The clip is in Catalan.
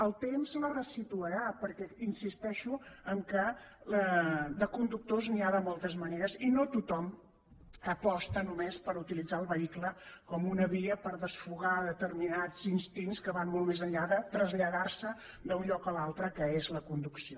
el temps la resituarà perquè hi insisteixo de conductors n’hi ha de moltes maneres i no tothom aposta només per utilitzar el vehicle com una via per desfogar determinats instints que van molt més enllà de traslladar se d’un lloc a l’altre que és la conducció